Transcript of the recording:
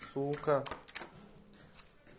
сука